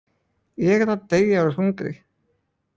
Ég er að deyja úr hungri